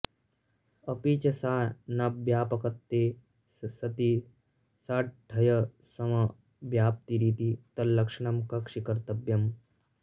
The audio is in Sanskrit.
अपि च सा नाव्यापकत्वे सति साड्ढयसमव्याप्तिरिति तल्लक्षणं कक्षीकर्तव्यम्